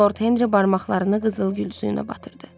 Lord Henri barmaqlarını qızılgül suyuna batırdı.